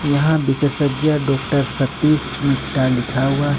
यहां विशेषज्ञ डॉक्टर सतीश मिटा लिखा हुआ--